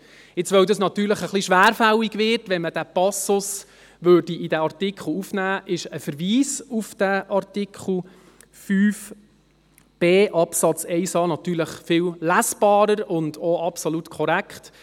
Weil es etwas schwerfällig würde, wenn man diesen Passus in diesen Artikel aufnähme, ist ein Verweis auf diesen Artikel 5b Absatz 1a natürlich viel lesbarer und auch absolut korrekt.